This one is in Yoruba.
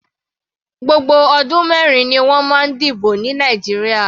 Gbogbo ọdún mẹrin ni wọ́n máa ń dìbò ní Nàìjíríà.